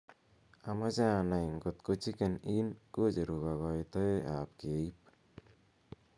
amoje anai ng'ot ko chicken inn kocheru kogoitoe ab keib